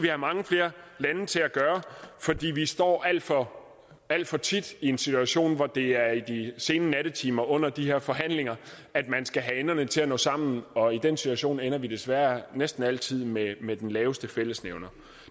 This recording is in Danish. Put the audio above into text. have mange flere lande til at gøre fordi vi står alt for alt for tit i en situation hvor det er i de sene nattetimer under de her forhandlinger at man skal have enderne til at nå sammen og i den situation ender vi desværre næsten altid med med den laveste fællesnævner